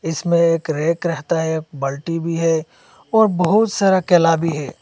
इसमें एक रैक रहता है बल्टी भी है और बहुत सारा केला भी है।